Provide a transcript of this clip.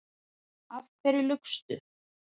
Af hverju laugstu?